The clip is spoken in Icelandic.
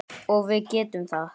Og við getum það.